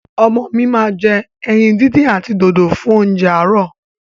Ọmọ mi ma jẹ ẹyin díndín àti dòdò fún óúnjẹ àárò.